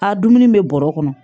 A dumuni bɛ bɔrɔ kɔnɔ